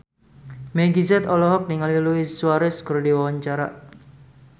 Meggie Z olohok ningali Luis Suarez keur diwawancara